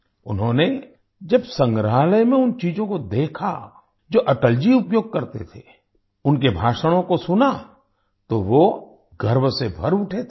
उन्होंने जब संग्रहालय में उन चीज़ों को देखा जो अटल जी उपयोग करते थे उनके भाषणों को सुना तो वो गर्व से भर उठे थे